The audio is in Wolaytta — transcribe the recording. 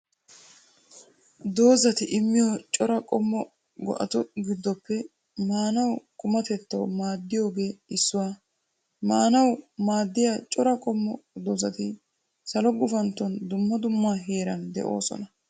Dozati immiyo cora qommo go'atu giddoppe maanawu qumatettawu maaddiyoogee issuwaa. Maanawu maaddiya cora qommo dazati salo gufaantton dumma dumma heeran de'oosona.